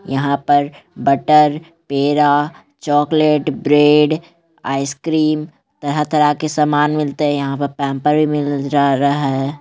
यहाँ पर बटर पेड़ा चॉकलेट ब्रेड आइसक्रीम तरह-तरह के सामान मिलते है। यहाँ पर पैंपर्स भी मीव ई मिल रहा है।